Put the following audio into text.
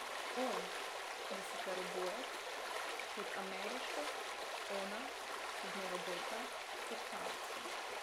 On, deseterobojec, pod ameriško, ona, sedmerobojka, pod kanadsko.